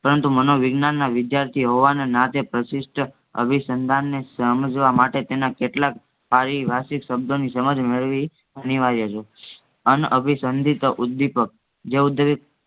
પરંતુ મનોવિજ્ઞાનના વિદ્યાર્થી હોવાના નાતે પ્રશિસ્ટ અભિસંધાને સમજવામાટે તેના કેટલાક પારિભાષિક શબ્દોની સમજ મેળવી અનિરવાર્ય છે. અનઅભિસંધિત ઉદ્દીપક